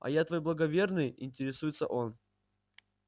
а я твой благоверный интересуется он